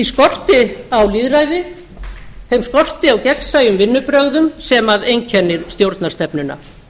þeim skorti á lýðræði þeim skorti á gegnsæjum vinnubrögðum sem einkennir stjórnarstefnuna